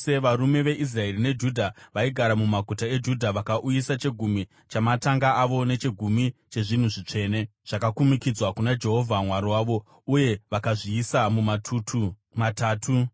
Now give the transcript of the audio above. Varume veIsraeri neJudha vaigara mumaguta eJudha vakauyisa chegumi chamatanga avo nechegumi chezvinhu zvitsvene zvakakumikidzwa kuna Jehovha Mwari wavo, uye vakazviisa mumatutu matatu.